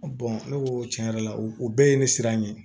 ne ko tiɲɛ yɛrɛ la o bɛɛ ye ne siran ye